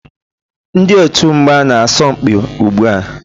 Ndị otu mgba na-asọ mpi ugbu a.